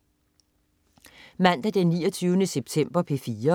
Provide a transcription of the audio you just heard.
Mandag den 29. september - P4: